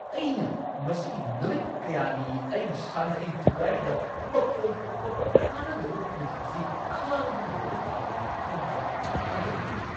ꯑꯩꯅ ꯃꯁꯤꯒꯤ ꯅꯨꯃꯤꯠ ꯀꯌꯥꯅꯤ ꯑꯩꯒꯤ ꯁꯥꯟꯇꯤ ꯊꯨꯒꯥꯢꯔꯤꯕ ꯃꯈꯣꯜ ꯊꯣꯛꯄ, ꯀꯥꯟꯅꯗ꯭ꯔꯕ ꯐ꯭ꯔꯤꯖ ꯑꯁꯤ ꯈꯥꯡꯗꯨꯅ ꯂꯩꯕ ꯇꯥꯕꯅꯤ ꯈꯟꯕꯗ ꯊꯥꯖꯕ ꯉꯝꯗꯦ!